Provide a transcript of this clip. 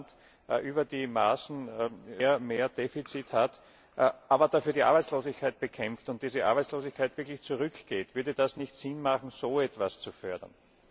wenn ein Land über die Maßen mehr Defizit hat, aber dafür die Arbeitslosigkeit bekämpft und diese Arbeitslosigkeit wirklich zurückgeht, würde es dann nicht Sinn machen, so etwas zu fördern?